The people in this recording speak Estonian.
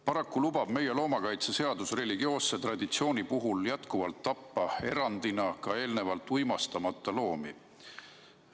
Paraku lubab meie loomakaitseseadus religioosse traditsiooni puhul jätkuvalt tappa erandina ka eelnevalt uimastamata loomi.